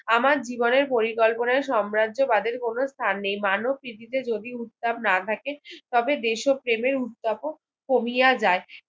আমার জীবনের পরিকল্পনা সম্রাজ্য বাদের কোনো স্থান নেই মানব কৃতিত্বে যদি উত্তাব না থাকে তবে দেশ প্রেমের উত্তাব কমিয়ে যায়